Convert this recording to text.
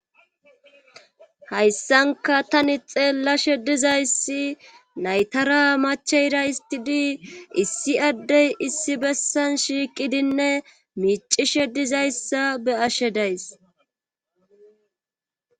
Hayssanka tani xeellashe dizayssi naytara machayraystidii issi addey issi bessan shiiqidinne miicishe dizayssa be ashe days.